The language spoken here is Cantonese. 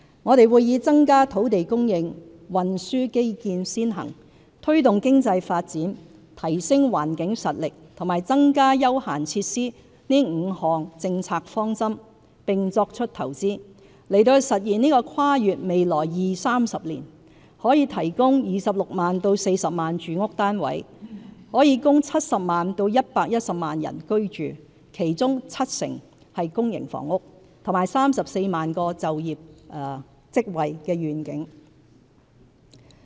我們會以增加土地供應、運輸基建先行、推動經濟發展、提升環境實力及增加休閒設施這5項政策方針，並作出投資，實現這個跨越未來二、三十年、可提供26萬至40萬住屋單位，供70萬至110萬人口居住，其中七成為公營房屋，和34萬個就業職位的願景。